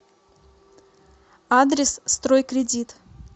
адрес стройкредит